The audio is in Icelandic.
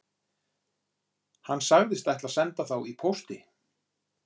Hann sagðist ætla að senda þá í pósti